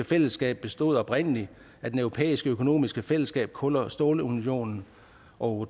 fællesskab bestod oprindelig af det europæiske økonomiske fællesskab kål og stålunionen og